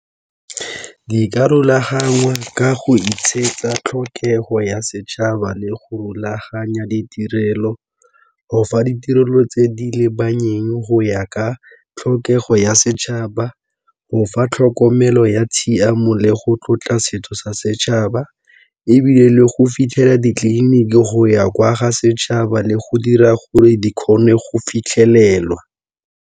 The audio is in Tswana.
Di ka rulagangwa ka go tlhokego ya setšhaba le go rulaganya ditirelo go fa ditirelo tse di go ya ka tlhokego ya setšhaba, go fa tlhokomelo ya tshiamo le go tlotla setso sa setšhaba ebile le go fitlhela ditleliniki go ya kwa ga setšhaba le go dira gore di kgone go fitlhelelwa.